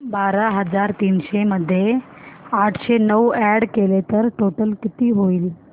बारा हजार तीनशे मध्ये आठशे नऊ अॅड केले तर टोटल किती होईल